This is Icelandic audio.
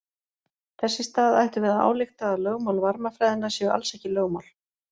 Þess í stað ættum við að álykta að lögmál varmafræðinnar séu alls ekki lögmál.